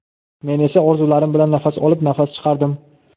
men esa orzularim bilan nafas olib nafas chiqardim.